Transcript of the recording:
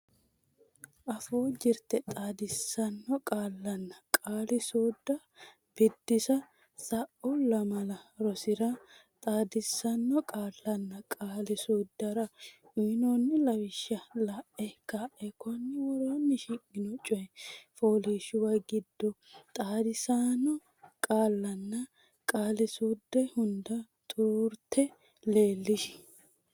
Afuu Jirte Xaadisaano Qaallanna Qaali suudda Biddissa Sa’u lamala rosira xaadisaano qaallanna qaali suuddara uynoonni lawishsha la’e ka’e konni woroonni shiqqino coy fooliishshuwa giddo xaadisaano qaallanna qaali suudda hunda xuruurte leellishi.